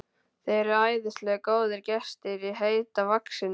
Þið eruð æðisleg, góðir gestir í Heita vaxinu!